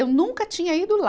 Eu nunca tinha ido lá.